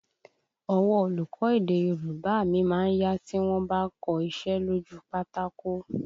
Ọwọ́ olùkọ́ èdè Yorùbá mi má ń yá tí wọ́n bá ń kọ iṣẹ́ lójú u pátákó